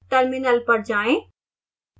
terminal पर जाएं